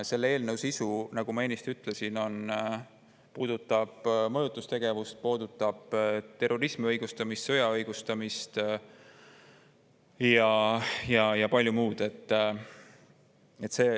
Selle eelnõu sisu, nagu ma ennist ütlesin, puudutab mõjutustegevust, terrorismi õigustamist, sõja õigustamist ja palju muud.